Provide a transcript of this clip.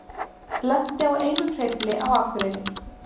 Lenti á einum hreyfli á Akureyri